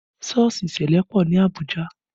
Sọ́ọ̀sì ṣẹlẹ pọ ní Abuja